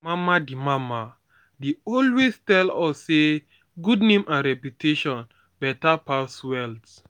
my mama dey mama dey always tell us say good name and reputation better pass wealth